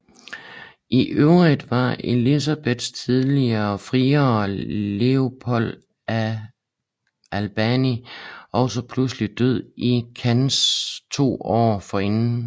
I øvrigt var Elisabeths tidligere friere Leopold af Albany også pludselig død i Cannes to år forinden